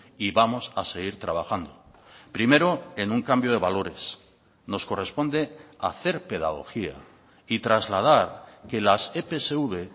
y vamos a seguir trabajando primero en un cambio de valores nos corresponde hacer pedagogía y trasladar que las epsv